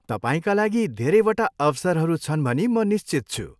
तपाईँका लागि धेरैवटा अवसरहरू छन् भनी म निश्चित छु।